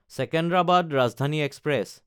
Secunderabad Rajdhani express